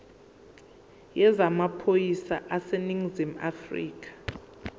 yezamaphoyisa aseningizimu afrika